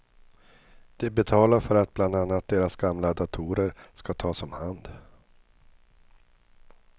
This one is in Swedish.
De betalar för att bland annat deras gamla datorer ska tas om hand.